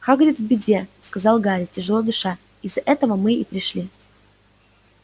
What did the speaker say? хагрид в беде сказал гарри тяжело дыша из-за этого мы и пришли